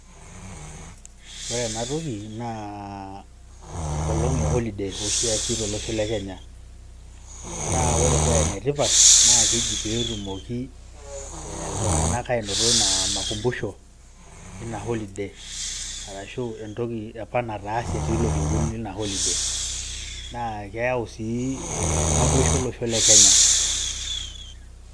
Ore ena toki naa enkolong e holiday ashi eesi toosho le Kenya, naa ore pee enetipat, naa keji peetumoki ee iltungana anoto ina makumbusho ina holiday arashu entoki apa naataase tilo kekun lina holiday naa keyau sii naboisho olosho le Kenya.